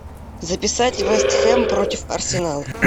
записать вест хэм против арсенала